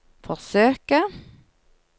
forsøke